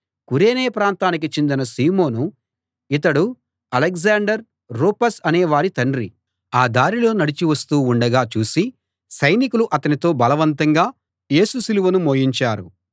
కురేనే ప్రాంతానికి చెందిన సీమోను ఇతడు అలెగ్జాండర్ రూఫస్ అనే వారి తండ్రి ఆ దారిలో నడిచి వస్తూ ఉండగా చూసి సైనికులు అతనితో బలవంతంగా యేసు సిలువను మోయించారు